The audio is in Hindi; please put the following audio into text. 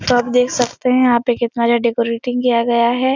तो आप देख सकते है यहाँ पे कितना अच्छा डेकोरेटिंग किया गया है।